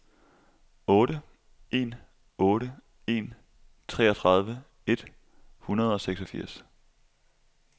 otte en otte en treogtredive et hundrede og seksogfirs